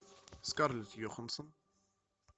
скарлетт йоханссон